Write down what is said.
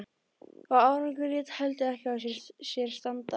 Og árangurinn lét heldur ekki á sér standa.